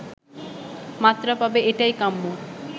মাত্রা পাবে এটাই কাম্য